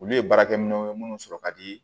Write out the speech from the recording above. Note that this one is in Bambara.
Olu ye baarakɛ minɛw ye minnu sɔrɔ ka di